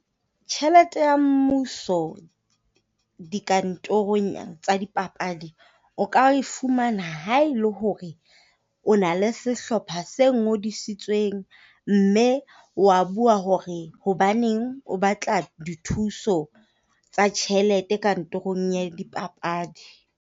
Tjhelete ya mmuso dikantorong tsa dipapadi, o ka e fumana ha e le hore o na le sehlopha se ngodisitsweng mme wa bua hore hobaneng o batla dithuso tsa tjhelete kantorong ya dipapadi.